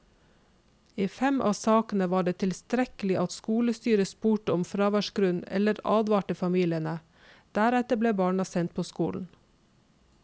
I fem av sakene var det tilstrekkelig at skolestyret spurte om fraværsgrunn eller advarte familiene, deretter ble barna sendt på skolen.